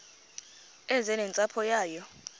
eze nentsapho yayo